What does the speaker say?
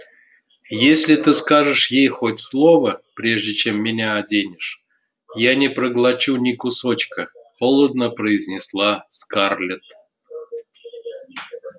если ты скажешь ей хоть слово прежде чем меня оденешь я не проглочу ни кусочка холодно произнесла скарлетт